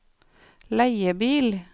leiebil